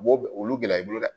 U b'o olu gɛlɛya i bolo dɛ